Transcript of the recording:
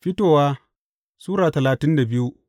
Fitowa Sura talatin da biyu